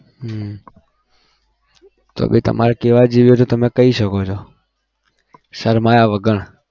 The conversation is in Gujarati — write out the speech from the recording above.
હમ પછી તમારે કહેવા જેવી હોય તો તમે કહી શકો છો. શરમાયા વગર.